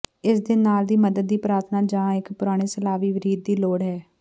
ਇਸ ਦੇ ਨਾਲ ਦੀ ਮਦਦ ਦੀ ਪ੍ਰਾਰਥਨਾ ਜ ਇੱਕ ਪੁਰਾਣੇ ਸਲਾਵੀ ਰੀਤ ਦੀ ਲੋੜ ਹੈ